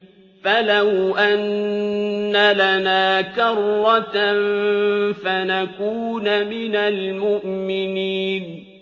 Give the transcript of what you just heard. فَلَوْ أَنَّ لَنَا كَرَّةً فَنَكُونَ مِنَ الْمُؤْمِنِينَ